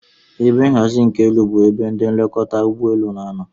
Ebe nhazi nke elu bu ebe elekọta ụgbọ elu n'anọ